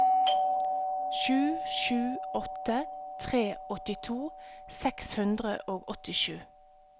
sju sju åtte tre åttito seks hundre og åttisju